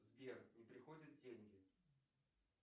сбер не приходят деньги